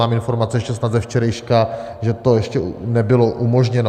Mám informace, ještě snad ze včerejška, že to ještě nebylo umožněno.